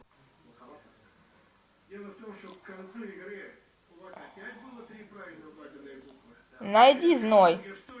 найди зной